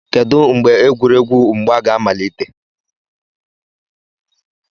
kedu mgbe egwuregwu mgba ga amalite